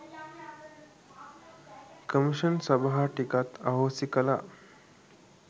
commission සභා ටිකත් අහෝසි කලා